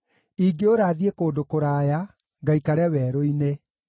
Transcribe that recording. ingĩũra thiĩ kũndũ kũraya, ngaikare werũ-inĩ;